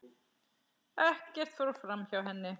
Ekkert fór framhjá henni.